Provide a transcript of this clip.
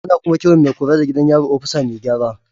Ana kuma kiran mai kula da gidan yari opisa Mai gyara.